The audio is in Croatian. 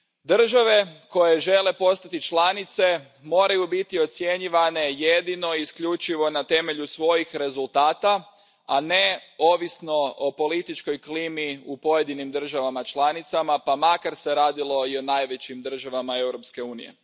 Države koje žele postati članice moraju biti ocjenjivane jedino i isključivo na temelju svojih rezultata, a ne ovisno o političkoj klimi u pojedinim državama članicama, pa makar se radilo i o najvećim državama Europske unije.